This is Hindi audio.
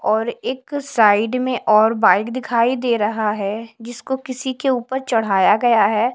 और एक साइड में और बाइक दिखाई दे रहा हैजिसको किसी के ऊपर चढ़ाया गया है।